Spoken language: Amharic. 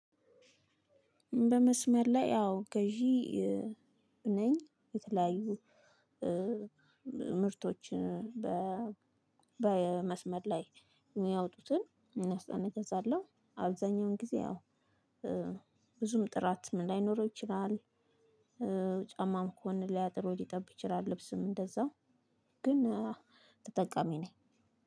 በመስመር ላይ አው ገዢ ነኝ። የተለያዩ ምርቶችን በመስመር ላይ የሚያወጡትን እናስተ እገዛለሁ አብዛኛውን ጊዜ አዎ። ብዙም ጥራትም ላይኖረው ይችላል። ጎን ሊያጥር ወይም ሊጠብ ይችላል ወይም ልብስም እንደዛው ግን ተጠቃሚ ነኝ።